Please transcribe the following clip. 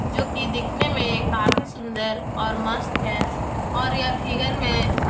जो की दिखने में काफी सुंदर और मस्त है और यह फिगर में --